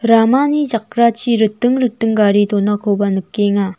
ramani jakrachi riting riting gari donakoba nikenga.